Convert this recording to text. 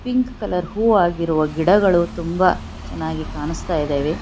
Pink colour ಹೂವ ಆಗಿರುವ ಗಿಡಗಳು ತುಂಬಾ ಚೆನ್ನಾಗಿ ಕಾಣಿಸ್ತಾ ಇದವೆ.